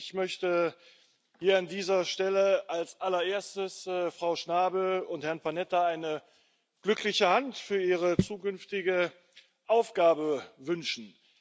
Auch ich möchte hier an dieser Stelle als allererstes Frau Schnabel und Herrn Panetta eine glückliche Hand für ihre zukünftige Aufgabe wünschen.